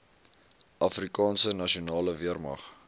afrikaanse nasionale weermag